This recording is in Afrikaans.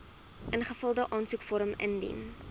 ingevulde aansoekvorm indien